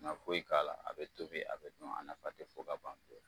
kana foyi k'ala a be tobi a be dun a nafa te fo ka ban